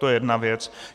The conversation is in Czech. To je jedna věc.